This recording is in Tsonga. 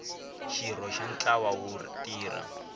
xirho xa ntlawa wo tirha